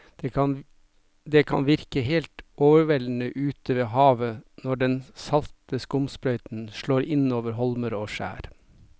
Det kan virke helt overveldende ute ved havet når den salte skumsprøyten slår innover holmer og skjær.